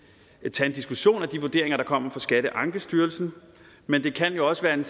tage en diskussion af de vurderinger der kommer fra skatteankestyrelsen men det kan også være en